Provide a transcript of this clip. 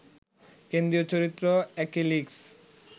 কেন্দ্রীয় চরিত্র অ্যাকিলিস